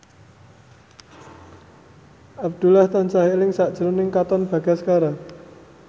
Abdullah tansah eling sakjroning Katon Bagaskara